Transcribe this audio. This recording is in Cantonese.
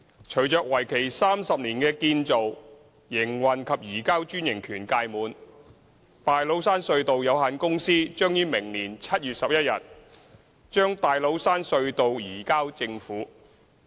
隨着為期30年的"建造、營運及移交"專營權屆滿，大老山隧道有限公司將於明年7月11日把大老山隧道移交政府。